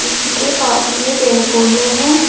उनके पास में पेड़ पौधे हैं।